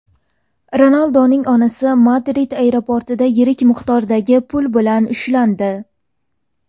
Ronalduning onasi Madrid aeroportida yirik miqdordagi pul bilan ushlandi.